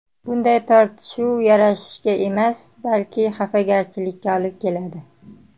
Bunday tortishuv yarashishga emas, balki xafagarchilikka olib keladi.